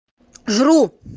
жру